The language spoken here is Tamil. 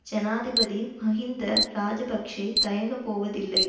ஜனாதிபதி மஹிந்த இராஜபக்ஷ தயங்கப் போவதில்லை